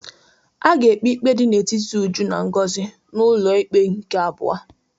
A ga-ekpe ikpe dị n'etiti Uju na Ngozi n'ọnụ ụlọ ikpe nke abụọ.